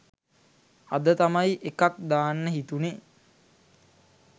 අද තමයි එකක් දාන්න හිතුනෙ.